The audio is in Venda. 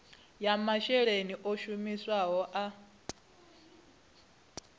ya masheleni o shumisiwaho a